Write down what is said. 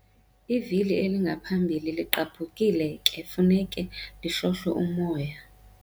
Ivili elingaphambili ligqabhukilekufuneka lihlohlwe umoya.